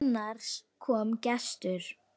Annars kom gestur.